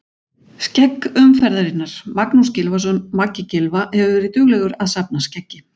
Skegg umferðarinnar: Magnús Gylfason Maggi Gylfa hefur verið duglegur að safna skeggi.